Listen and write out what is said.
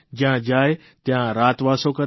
જયાં જાય ત્યાં રાતવાસો કરે